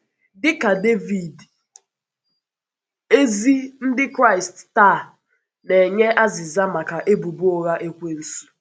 Dị ka Dévìd, ezi Ndị Kraịst taa na-enye azịza maka ebùbọ ụgha Èkwènsù.